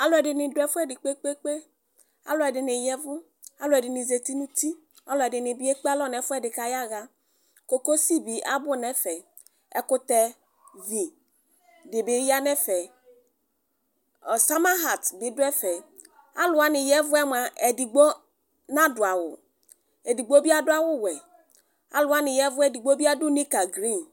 Alʋ ɛdini dʋ ɛfʋɛdi kpe kpe kpe alʋ ɛdini ya ɛvʋ alʋdini zati nʋ ʋti alʋɛdini ekpe alɔ nʋ ɛfʋɛdi kʋ ayaxa kokosi bi abʋ nʋ ɛfɛ ɛkʋtɛvi dibi yanʋ ɛfɛ ɔsamahat bi dʋ ɛfɛ alʋ wani ya ɛvʋ yɛ mʋa edigno nadʋ awʋ edigbo bi adʋ awʋwɛ alʋ wani ya ɛvʋ edigbo bi adʋ nika grin